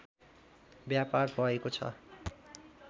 व्यापार भएको छ